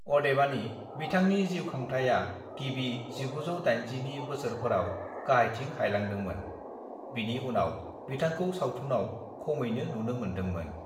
"अदेबानि, बिथांनि जीउखांथाया गिबि 1980 नि बोसोरफोराव गाहायथिं हायलांदोंमोन, बिनि उनाव बिथांखौ सावथुनाव खमैनो नुनो मोनदोंमोन ।"